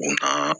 U na